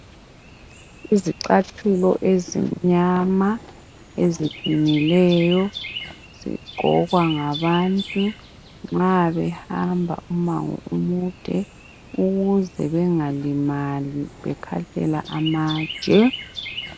Izicathulo ezimnyama, eziqinileyo, zigqokwa ngabantu nxa behamba umango omude ukuze bengalimali bekhahlela amatshe.